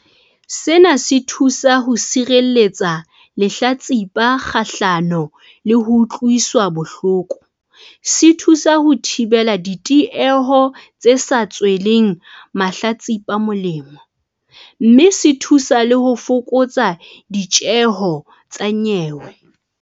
Sena se thusa ho sireletsa lehlatsipa kgahlano le ho utlwiswa bohloko, se thusa ho thibela ditieho tse sa tsweleng mahlatsipa molemo, mme se thuse le ho fokotsa ditjeho tsa nyewe.